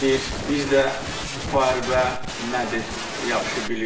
Biz də müharibə nədir yaxşı bilirik.